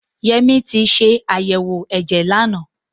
Yẹmí ti ṣe àyẹ̀wò ẹ̀jẹ̀ lánàá.